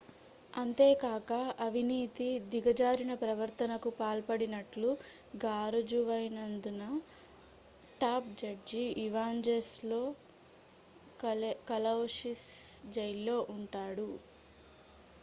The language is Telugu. అంతేకాక అవినీతి దిగజారిన ప్రవర్తనకు పాల్పడినట్లు గారుజువైన ౦దున టాప్ జడ్జి ఇవాంజెలోస్ కలౌసిస్ జైల్లో ఉంటాడు